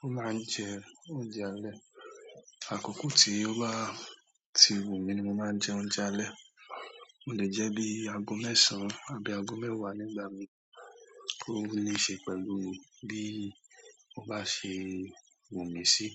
Mo máa ń jẹ oúnjẹ alẹ́, àkókò tí ó bá ti wù mí ni mo máa jẹ oúnjẹ alẹ́. Mo le jẹ́ bíi ago mẹ́sàn án àbí ago mẹ́wàá nígbà mìí, ó ni ṣe pẹ̀lú bí ó bá ṣe wù mí sí.